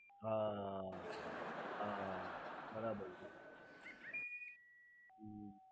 હા હા બરાબર છે